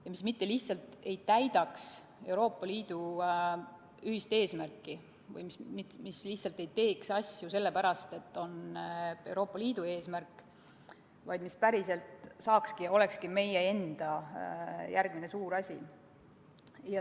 Nii me mitte lihtsalt ei täidaks Euroopa Liidu ühist eesmärki või ei teeks asju vaid sellepärast, et see on Euroopa Liidu soov, vaid see oleks päriselt ka meie enda järgmine suur siht.